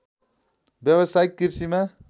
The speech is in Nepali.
व्यावसायिक कृषिमा